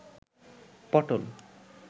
পটল